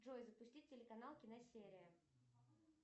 джой запусти телеканал киносерия